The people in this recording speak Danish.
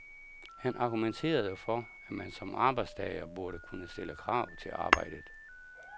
Han argumenterede for, at man som arbejdstager burde kunne stille krav til arbejdet.